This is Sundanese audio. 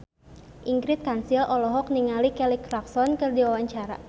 Ingrid Kansil olohok ningali Kelly Clarkson keur diwawancara